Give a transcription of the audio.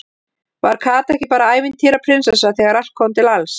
Var Kata ekki bara ævintýra- prinsessa þegar allt kom til alls?